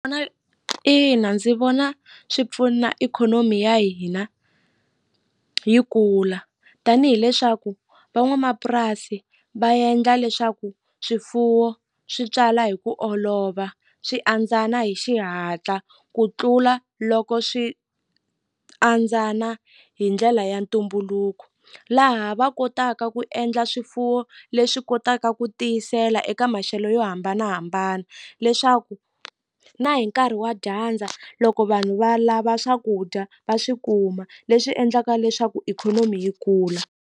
ina ndzi vona swi pfuna ikhonomi ya hina yi kula tanihi leswaku van'wamapurasi va endla leswaku swifuwo swi tswala hi ku olova swi andzana hi xihatla ku tlula loko swi andzana hi ndlela ya ntumbuluko laha va kotaka ku endla swifuwo leswi kotaka ku tiyisela eka maxelo yo hambanahambana leswaku na hi nkarhi wa dyandza loko vanhu va lava swakudya va swi kuma leswi endlaka leswaku ikhonomi yi kula.